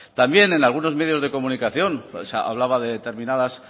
también en algunos medios de comunicación se hablaba de determinadas